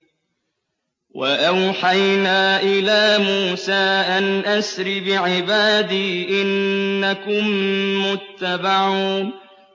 ۞ وَأَوْحَيْنَا إِلَىٰ مُوسَىٰ أَنْ أَسْرِ بِعِبَادِي إِنَّكُم مُّتَّبَعُونَ